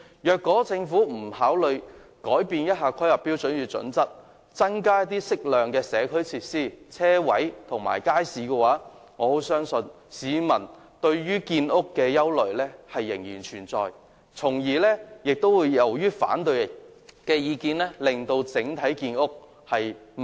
如果政府不修訂《規劃標準》，增加適量的社區設施、車位及街市，我相信市民對於建屋的憂慮將仍然存在，由此而起反對的意見亦將令整體建屋速度減慢。